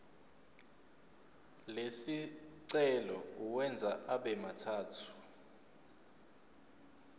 lesicelo uwenze abemathathu